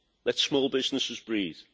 Let small businesses breathe.